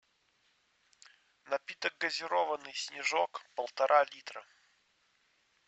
напиток газированный снежок полтора литра